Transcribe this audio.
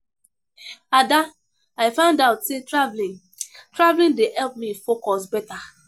Ada, I find out say traveling traveling dey help me focus beta